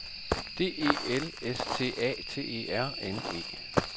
D E L S T A T E R N E